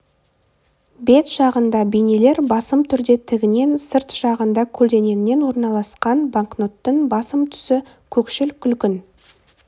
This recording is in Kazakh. бет жағында бейнелер басым түрде тігінен сырт жағында көлденеңінен орналасқан банкноттың басым түсі көкшіл күлгін